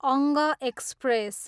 अङ्ग एक्सप्रेस